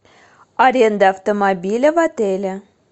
аренда автомобиля в отеле